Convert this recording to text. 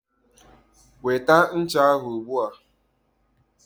Weta ncha ahụ ugbua.